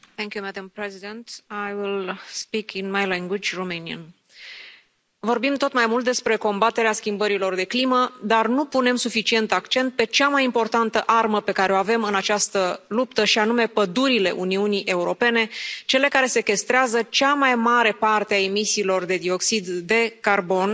Doamnă președintă, vorbim tot mai mult despre combaterea schimbărilor de climă, dar nu punem suficient accent pe cea mai importantă armă pe care o avem în această luptă și anume pădurile Uniunii Europene, cele care sechestrează cea mai mare parte a emisiilor de dioxid de carbon.